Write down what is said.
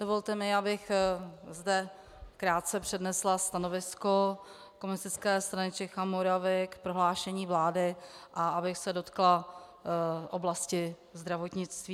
Dovolte mi, abych zde krátce přednesla stanovisko Komunistické strany Čech a Moravy k prohlášení vlády a abych se dotkla oblasti zdravotnictví.